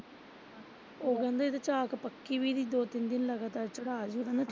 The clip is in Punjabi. ਫਿਰ ਕਹਿੰਦੇ ਝਾਕ ਪੱਕੀ ਵੀ ਨੀ ਦੋ ਤਿੰਨ ਦਿਨ ਲਗਾਤਾਰ ਚੜਾ ਆਈਉ।